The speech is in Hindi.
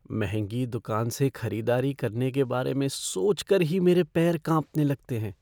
महंगी दुकान से खरीदारी करने के बारे में सोच कर ही मेरे पैर काँपने लगते हैं।